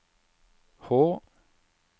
Hå